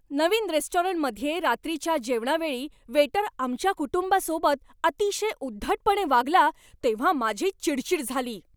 नवीन रेस्टॉरंटमध्ये रात्रीच्या जेवणावेळी वेटर आमच्या कुटुंबासोबत अतिशय उद्धटपणे वागला तेव्हा माझी चिडचिड झाली.